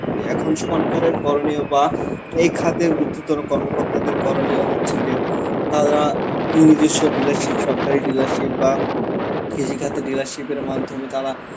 করি. এখন সরকারের করণীয় বা এই খাতের গুরুত্বতর কর্মকর্তাদের করণীয় হচ্ছে যে তারা নিজস্ব dealership সরকারি dealership বা কৃষিখাতে dealership এর মাধ্যমে তারা~